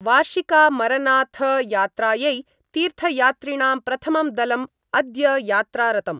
वार्षिकामरनाथयात्रायै तीर्थयात्रिणां प्रथमं दलम् अद्य यात्रारतम्।